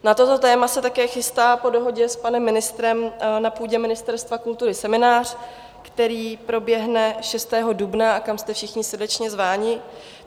Na toto téma se také chystá po dohodě s panem ministrem na půdě Ministerstva kultury seminář, který proběhne 6. dubna a kam jste všichni srdečně zváni.